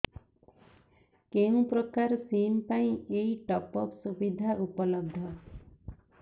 କେଉଁ ପ୍ରକାର ସିମ୍ ପାଇଁ ଏଇ ଟପ୍ଅପ୍ ସୁବିଧା ଉପଲବ୍ଧ